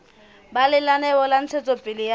ba lenaneo la ntshetsopele ya